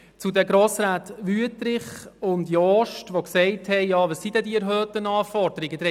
Die Grossräte Wüthrich und Jost haben gefragt, was diese erhöhten Anforderungen denn seien.